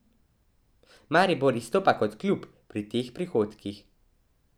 Maribor izstopa kot klub pri teh prihodkih.